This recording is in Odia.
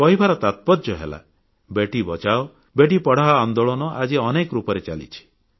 କହିବାର ତାତ୍ପର୍ଯ୍ୟ ହେଲା ବେଟୀ ବଚାଓ ବେଟୀ ପଢ଼ାଓ ଆନ୍ଦୋଳନ ଆଜି ଅନେକ ରୂପରେ ଚାଲିଛି